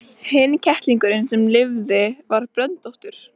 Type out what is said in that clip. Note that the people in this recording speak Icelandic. Hinn kettlingurinn sem lifði var bröndóttur.